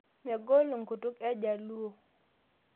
Menkol nkutuk ejaluo